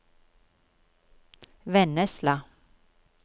Vennesla